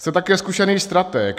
Jste také zkušený stratég.